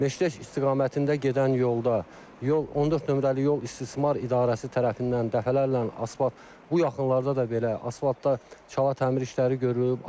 Məşləş istiqamətində gedən yolda yol 14 nömrəli yol istismar idarəsi tərəfindən dəfələrlə asfalt, bu yaxınlarda da belə asfaltdan çala təmir işləri görüb.